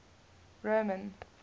roman